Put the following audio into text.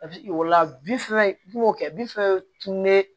o la bi fɛnw kɛ bi fɛn ne